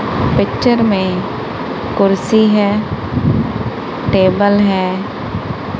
Picture में कुर्सी है टेबल है।